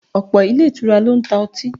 Ọ̀pọ̀ ilé ìtura ló ń ta ọtí